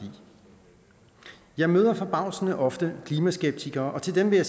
jeg møder forbavsende ofte klimaskeptikere og til dem vil